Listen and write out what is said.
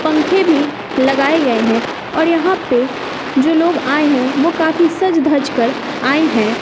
पंखे भी लगाए गए हैं और यहां पे जो लोग आए हैं वो काफी सज धज कर आए हैं।